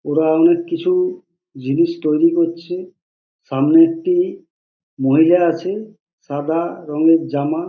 ওরা অনেক কিছু জিনিস তৈরী করছে। সামনে একটি মহিলা আছে সাদা রঙের জামা --